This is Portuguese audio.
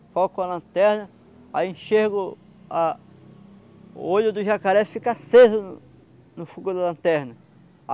Foca com a lanterna, aí enxerga o a... O olho do jacaré fica aceso no no fogo da lanterna.